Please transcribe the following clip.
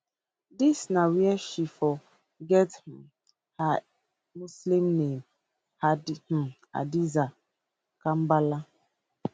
dis na wia she for get um her muslim name um hadiza mkambala